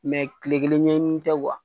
kile kelen ɲɛɲini ni tɛ